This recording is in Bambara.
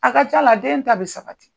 A ka ca la den ta bi sabati.